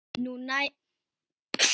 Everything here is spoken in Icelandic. Nú, jæja, vinan.